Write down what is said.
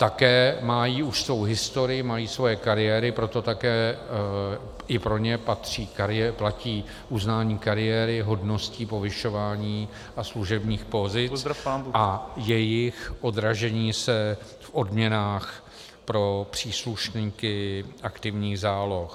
Také mají už svou historii, mají svoje kariéry, proto také i pro ně platí uznání kariéry, hodností, povyšování a služebních pozic a jejich odražení se v odměnách pro příslušníky aktivních záloh.